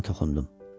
Dərdinə toxundum.